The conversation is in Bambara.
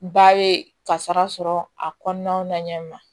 Ba ye kasara sɔrɔ a kɔnɔna na ɲɛ ma